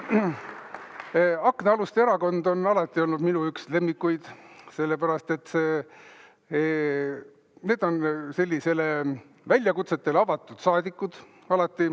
Aknaaluste erakond on alati olnud üks minu lemmikuid, sellepärast et need on väljakutsetele alati avatud saadikud.